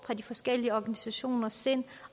fra de forskellige organisationer sind